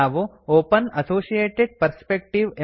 ನಾವು open associated perspective